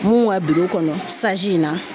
Mun ka kɔnɔ in na